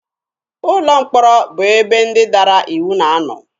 Ụlọ mkpọrọ bụ ebe ndị dara iwu na-anọ.